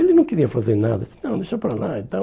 Ele não queria fazer nada, disse, não, deixa para lá e tal.